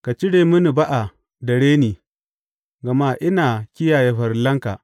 Ka cire mini ba’a da reni, gama ina kiyaye farillanka.